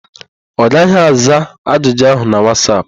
Ọ gaghị aza ajụjụ áhụ̀ na Wasap.